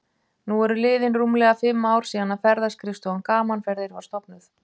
Nú eru liðin rúmlega fimm ár síðan að Ferðaskrifstofan Gaman Ferðir var stofnuð.